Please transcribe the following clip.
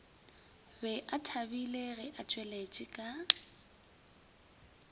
be bathabile ge atšweletše ka